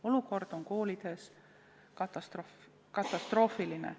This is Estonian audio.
Olukord koolides on katastroofiline.